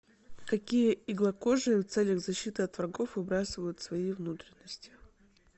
какие иглокожие в целях защиты от врагов выбрасывают свои внутренности